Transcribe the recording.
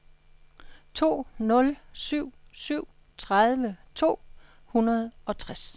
to nul syv syv tredive to hundrede og tres